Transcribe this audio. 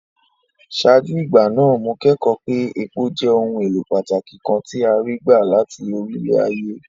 Ṣáájú ìgbà náà, mo kẹ́kọ̀ọ́ pé epo jẹ́ ohun èlò pàtàkì kan tí a rí gbà láti orílẹ̀-ayé.